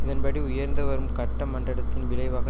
இதன்படி உயர்ந்து வரும் கட்டமண்டடத்தின் விளைவாக